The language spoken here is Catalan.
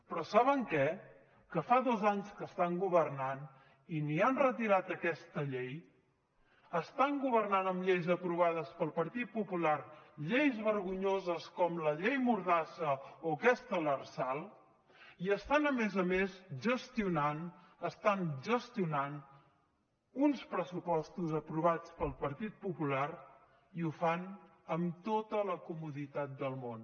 però saben què que fa dos anys que estan governant i ni han retirat aquesta llei estant governant amb lleis aprovades pel partit popular lleis vergonyoses com la llei mordassa o aquesta lrsal i estan a més a més gestionant estan gestionant uns pressupostos aprovats pel partit popular i ho fan amb tota la comoditat del món